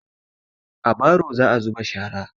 A baro za'a zuba shara.